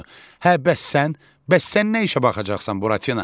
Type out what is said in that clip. Hə bəs sən, bəs sən nə işə baxacaqsan Buratino?